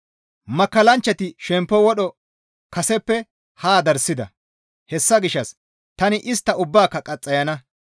Makkallanchchati shemppo wodho kaseppe haa darssida; hessa gishshas tani istta ubbaaka qaxxayana.